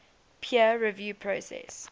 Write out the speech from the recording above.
peer review process